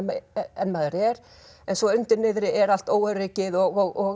en maður er en svo undir niðri er allt óöryggið og